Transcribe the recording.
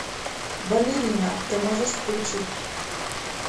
балерина ты можешь включить